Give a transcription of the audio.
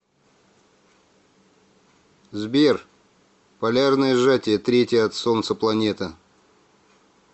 сбер полярное сжатие третья от солнца планета